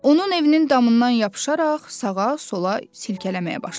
Onun evinin damından yapışaraq sağa, sola silkələməyə başladı.